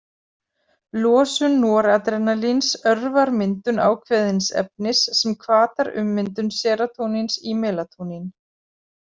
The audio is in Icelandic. Losun noradrenalíns örvar myndun ákveðins efnis sem hvatar ummyndun serótóníns í melatónín.